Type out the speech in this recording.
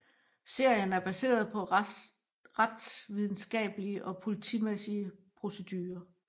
Serien er baseret på retsvidenskablige og politimæssige procedurer